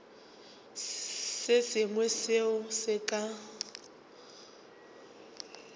se sengwe seo se ka